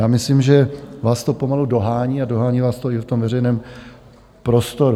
Já myslím, že vás to pomalu dohání, a dohání vás to i v tom veřejném prostoru.